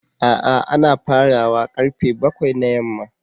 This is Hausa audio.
A'a ana fara wa karfe bakwai na yamma.